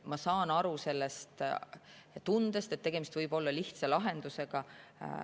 Ma saan aru sellest tundest, et tegemist võib olla lihtsa lahendusega.